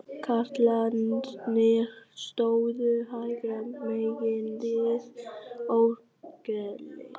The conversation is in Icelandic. Karlarnir stóðu hægra megin við orgelið.